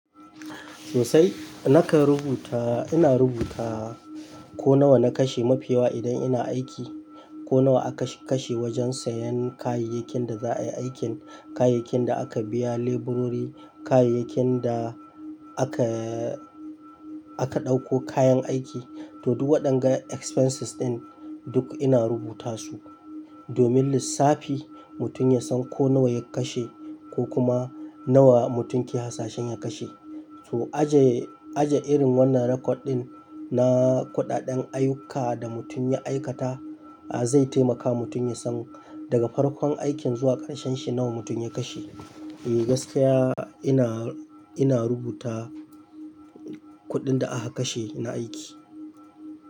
Sosai. Nakan rubuta, ina rubuta ko nawa na kashe mafi yawa idan ina aiki, ko nawa aka kashe wajen sayan kayayyakin da za a yi aikin, kayayyakin da aka biya leburori, kayayyakin da aka, aka ɗauko kayan aiki. To duk waɗannan expenses ɗin duk ina rubuta su domin lissafi mutum ya san ko nawa ya kashe ko kuma nawa mutum ke hasashen ya kashe. To aje, aje irin wannan record ɗin na kuɗaɗen ayyuka da mutum ya aikata, a zai taimaka mutum ya san daga farkon aikin zuwa ƙarshen shi nawa mutum ya kashe. Eh gaskiya ina, ina rubuta kuɗin da aka kashe na aiki.